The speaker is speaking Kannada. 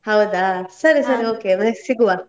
ಹೌದಾ? ಸರಿ ಸರಿ next ಸಿಗುವ.